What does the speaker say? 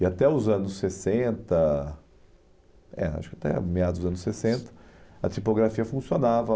E até os anos sessenta, é, acho que até a meados dos anos sessenta, a tipografia funcionava.